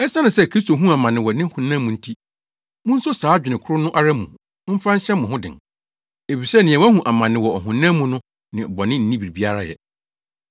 Esiane sɛ Kristo huu amane wɔ ne honam mu nti, munso saa adwene koro no ara mu mfa nhyɛ mo ho den. Efisɛ nea wahu amane wɔ ɔhonam mu no ne bɔne nni biribiara yɛ.